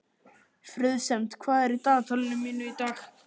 Friðsemd, hvað er í dagatalinu mínu í dag?